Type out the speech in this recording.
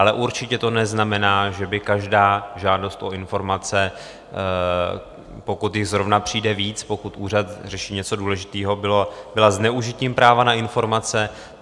Ale určitě to neznamená, že by každá žádost o informace, pokud jich zrovna přijde víc, pokud úřad řeší něco důležitého, byla zneužitím práva na informace.